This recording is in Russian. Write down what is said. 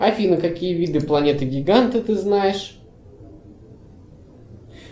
афина какие виды планеты гиганта ты знаешь